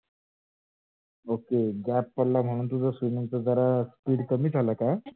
ok gap पडला म्हणून तुझा swimming चा जरा speed कमी झाला का?